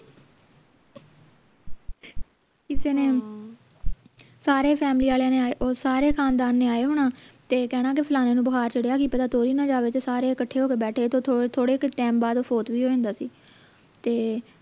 ਕਿਸੇ ਨੇ ਸਾਰੇ ਫੈਮਿਲੀ ਆਲਿਆਂ ਨੇ ਸਾਰੇ ਖਾਨਦਾਨ ਨੇ ਆਏ ਹੋਣਾ ਤੇ ਕਹਿਣਾ ਫਲਾਣੇ ਨੂੰ ਬੁਖਾਰ ਚੜ੍ਹਿਆ ਕਿ ਪਤਾ ਤੁਰ ਹੀ ਨਾ ਜਾਵੇ ਤੇ ਸਾਰੇ ਕੱਠੇ ਹੋ ਕੇ ਬੈਠੇ ਤੇ ਥੋੜੇ ਕੇ ਟੈਮ ਬਾਅਦ ਉਹ ਵੀ ਹੋ ਜਾਂਦਾ ਸੀ ਤੇ